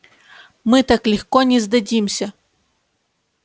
мы так легко не сдадимся